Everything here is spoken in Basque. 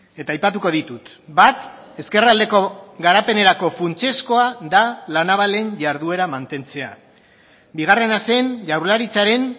eta aipatuko ditut bat ezkerraldeko garapenerako funtsezkoa da la navalen jarduera mantentzea bigarrena zen jaurlaritzaren